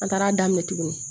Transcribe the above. An taara daminɛ tuguni